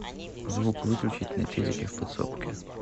звук выключить на телике в подсобке